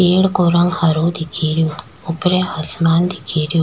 पेड़ को रंग हरो दिखे रेहो ऊपरे आसमान दिखे रो।